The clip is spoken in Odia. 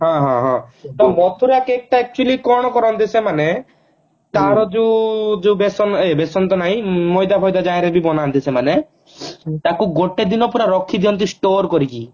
ହଁ ହଁ ହଁ ତ ମଥୁରା cake ଟା actually କଣ କରନ୍ତି ସେମାନେ ତାର ଯୋଉ ଯୋଉ ବେସନ ଏ ବେସନ ତ ନାଇଁ ମଇଦା ଫଇଦା ଜହରେ ବି ବନାନ୍ତି ସେମାନେ ତାକୁ ରଖିଦିଅନ୍ତି ଗୋଟେ ଦିନ ପୁରା store କରିକି